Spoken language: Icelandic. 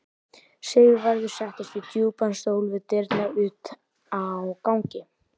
Sigvarður settist í djúpan stól við dyrnar út á ganginn.